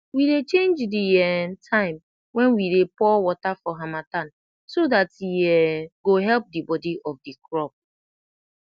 we dey change d um time wen we dey pour wata for hamatan so dat e um go help d body of de crop